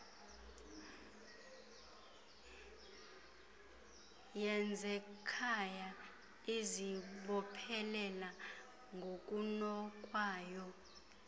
yezekhaya izibophelela ngokunokwayo